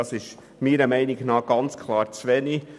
Dies ist meiner Meinung nach ganz klar zu wenig.